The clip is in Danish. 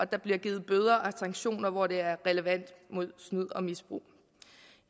der bliver givet bøder og sanktioner hvor det er relevant mod snyd og misbrug